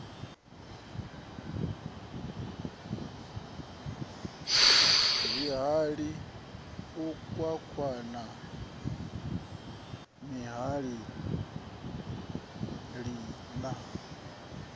zwihali u kwakwanya tshihali na